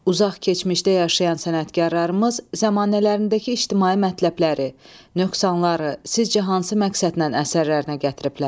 Uzaq keçmişdə yaşayan sənətkarlarımız zəmanələrindəki ictimai mətləbləri, nöqsanları sizcə hansı məqsədlə əsərlərinə gətiriblər?